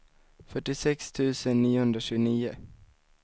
fyrtiosex tusen niohundratjugonio